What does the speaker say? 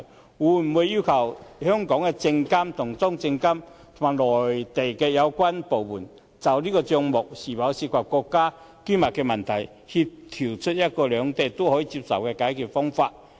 政府會否要求香港的證監會與中國證券監督管理委員會及內地有關部門就帳目是否涉及國家機密的問題，協調出一種兩地均可接受的解決方法呢？